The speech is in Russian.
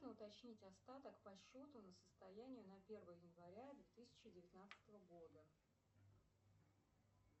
уточнить остаток по счету на состояние на первое января две тысячи девятнадцатого года